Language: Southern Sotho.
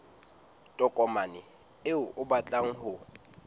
tokomane eo o batlang ho